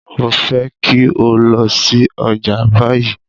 Mo fẹ́ kí o lọ sí ọjà báyìí!